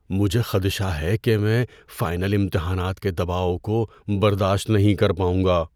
مجھے خدشہ ہے کہ میں فائنل امتحانات کے دباؤ کو برداشت نہیں کر پاؤں گا۔